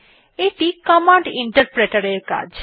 এ0ইটি command Interpreter এর কাজ